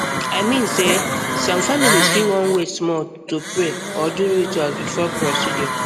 i mean sey some families fit wan wait small to pray or do ritual before procedure